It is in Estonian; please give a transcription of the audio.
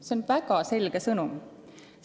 See on väga selge sõnum.